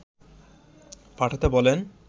পাঠাতে বলেন